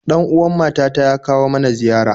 Ɗan uwan mata ta ya kawo mana ziyara